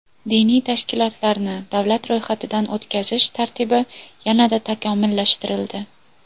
Diniy tashkilotlarni davlat ro‘yxatidan o‘tkazish tartibi yanada takomillashtirildi.